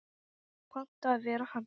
Panta að vera hann.